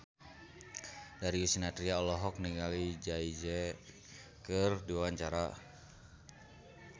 Darius Sinathrya olohok ningali Jay Z keur diwawancara